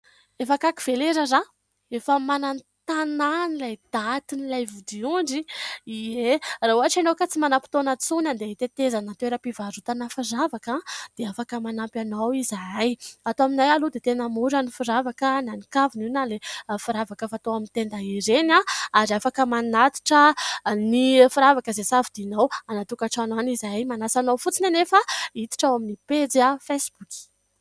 Efa akaiky ve ilay raharaha ? Efa mananontanona any ilay datin'ilay vodiondry ? Ie, raha ohatra ianao ka tsy manam-potoana intsony andeha hitetezana toeram-pivarotana firavaka dia afaka manampy anao izahay. Ato aminay aloha dia tena mora ny firavaka na ny kavina io na ilay firavaka fatao amin'ny tenda ireny, ary afaka manatitra ny firavaka izay safidinao izahay. Manasa anao fotsiny anefa hiditra ao amin'ny pejy fesiboky.